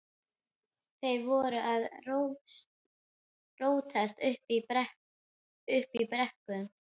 Þeir voru að rótast uppi í brekkum.